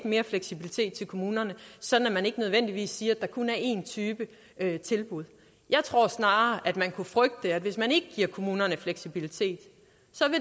mere fleksibilitet til kommunerne sådan at man ikke nødvendigvis siger at der kun er en type tilbud jeg tror snarere at man kunne frygte at hvis man ikke giver kommunerne fleksibilitet